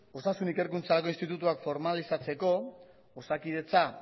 osasun ikerkuntzarako institutuak formalizatzeko osakidetza